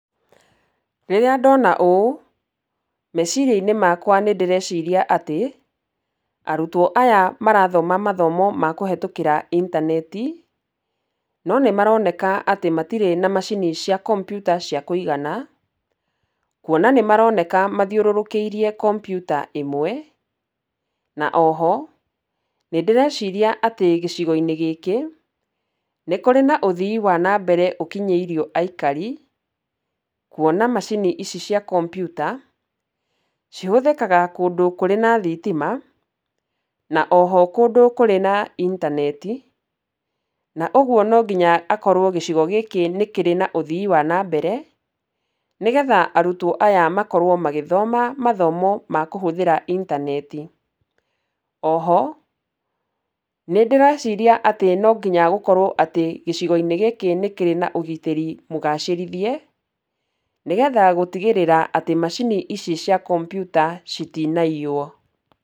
Rĩrĩa ndona ũũ, meciria-inĩ makwa nĩ ndĩreciria atĩ, arutwo aya marathoma mathomo ma kũhĩtũkĩra intaneti. No nĩ maroneka atĩ matirĩ na macini cia kompiuta cia kũigana, kuona nĩ maroneka mathiũrũrũkĩirie kompiuta ĩmwe. Na oho nĩ ndĩreciria atĩ gĩcigo-inĩ gĩkĩ, nĩ kũrĩ na ũthii wa na mbere ũkinyĩirio aikari. Kuona macini ici cia kompiuta cihũthĩkaga kũndũ kũrĩ na thitima na oho kũndũ kũrĩ na intaneti. Na ũguo no nginya akorwo gĩcigo gĩkĩ nĩ kĩrĩ na ũthii wa na mbere, nĩgetha arutwo aya makorwo magĩthoma mathomo ma kũhũthĩra intaneti. Oho nĩ ndĩreciria atĩ no nginya gũkorwo atĩ gĩcigo-inĩ gĩkĩ nĩ kĩrĩ na ũgitĩri mũgacĩrithie, nĩgetha gũtigĩrĩra atĩ macini ici cia kompiuta citinaiywo.